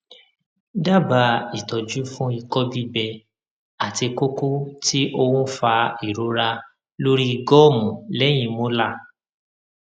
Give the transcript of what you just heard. dábàá ìtọjú fún ìkọ gbígbẹ àti koko ti oun fa ìrora lórí gọọmù lẹyìn molar